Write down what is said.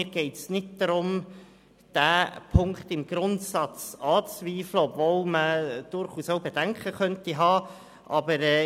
Mir geht es nicht darum, diesen Punkt im Grundsatz anzuzweifeln, obwohl man durchaus Bedenken haben könnte.